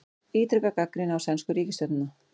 Ítreka gagnrýni á sænsku ríkisstjórnina